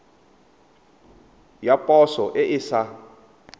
ya poso e e sa